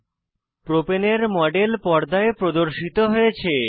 প্রপাণে propane এর model পর্দায় প্রদর্শিত হয়েছে